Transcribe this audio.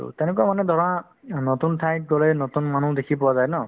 to তেনেকুৱা মানে ধৰা উম নতুন ঠাইত গ'লে নতুন মানুহ দেখি পোৱা যায় ন